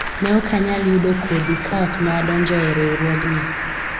ne ok anyal yudo kodhi ka ok ne adonjoe riwruogni